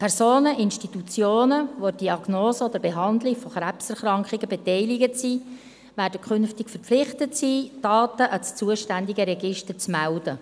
Personen, Institutionen, die an der Diagnostik oder der Behandlung von Krebserkrankungen beteiligt sind, werden künftig verpflichtet sein, Daten an das zuständige Register zu melden.